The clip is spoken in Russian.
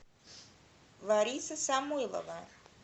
лариса самойлова